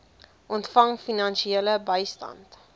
ontvang finansiële bystand